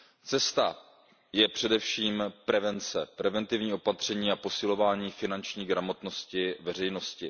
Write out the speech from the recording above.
Cestou je především prevence, preventivní opatření a posilování finanční gramotnosti veřejnosti.